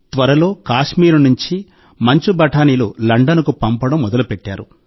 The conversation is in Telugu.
త్వరలో కశ్మీర్ నుండి మంచు బఠానీలు లండన్ కు పంపడం మొదలుపెట్టారు